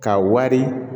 Ka wari